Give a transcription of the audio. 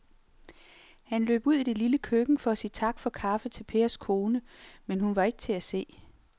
Han løb ud i det lille køkken for at sige tak for kaffe til Pers kone, men hun var ikke til at se.